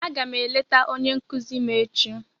Aga m eleta onye nkuzi m echi.